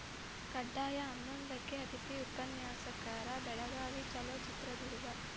ಕಡ್ಡಾಯ ಹನ್ನೊಂದಕ್ಕೆ ಅತಿಥಿ ಉಪನ್ಯಾಕರ ಬೆಳಗಾವಿ ಚಲೋ ಚಿತ್ರದುರ್ಗ